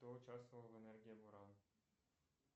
кто участвовал в энергии буран